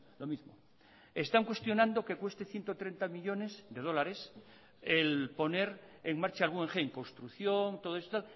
lo mismo están cuestionando que cueste ciento treinta millónes de dólares el poner en marcha el guggenheim construcción todo esto